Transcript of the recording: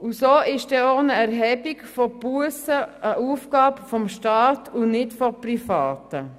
Und so ist auch eine Erhebung von Bussen eine Aufgabe des Staates und nicht von Privaten.